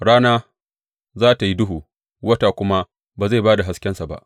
Rana za tă yi duhu wata kuma ba zai ba da haskensa ba.